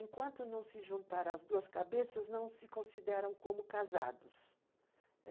Enquanto não se juntaram as duas cabeças, não se consideram como casados.